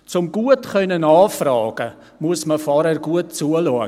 Um gut nachfragen zu können, muss man zuvor gut zuhören.